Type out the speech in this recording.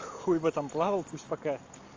хуй в этом плавал пусть пока